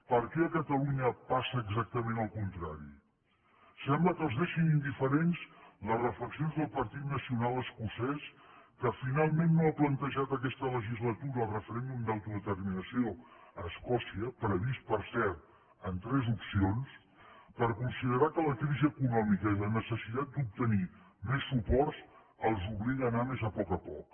per què a catalunya passa exactament al contrari sembla que els deixin indiferents les reflexions del partit nacional escocès que finalment no ha plantejat aquesta legislatura el referèndum d’autodeterminació a escòcia previst per cert en tres opcions perquè considerava que la crisi econòmica i la necessitat d’obtenir més suports els obliga a anar més a poc a poc